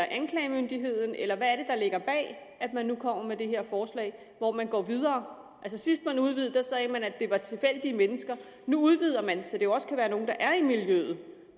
anklagemyndigheden eller hvad er ligger bag at man nu kommer med det her forslag hvor man går videre sidst man udvidede det sagde man at det var tilfældige mennesker nu udvider man det så det jo også kan være nogle der er i miljøet